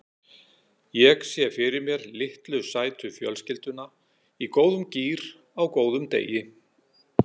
Ég sé fyrir mér litlu sætu fjölskylduna í góðum gír á góðum degi.